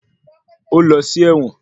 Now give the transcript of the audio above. Ó lọ sí ẹ̀wọ̀n.